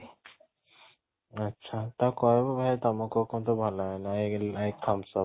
ଆଚ୍ଛା ତାକୁ କହିବୁ ଭାଇ ତମକୁ ଭଲ thumbs up